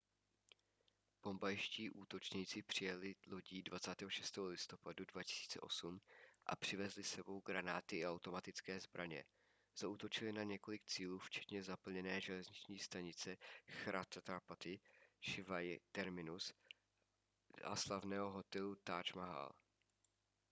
bombajští útočníci přijeli lodí 26. listopadu 2008 a přivezli s sebou granáty i automatické zbraně zaútočili na několik cílů včetně zaplněné železniční stanice chhatrapati shivaji terminus a slavného hotelu taj mahal